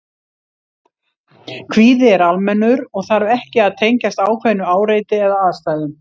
Kvíði er almennur og þarf ekki að tengjast ákveðnu áreiti eða aðstæðum.